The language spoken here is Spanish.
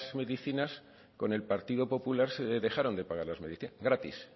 medicinas con el partido popular se dejaron de pagar las medicinas gratis